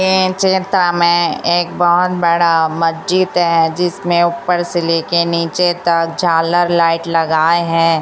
ये चित्र में एक बहोत बड़ा मजिद है जिसमें ऊपर से लेकर नीचे तक झालर लाइट लगाए हैं।